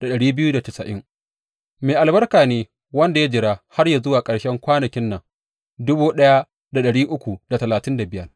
Mai albarka ne wanda ya jira har yă zuwa ƙarshen kwanakin nan